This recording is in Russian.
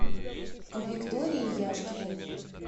виктории яшкиной